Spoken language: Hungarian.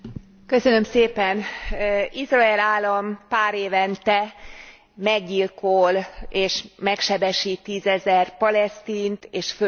Izrael állam párévente meggyilkol és megsebesít tízezer palesztint és földig rombolja Gázát.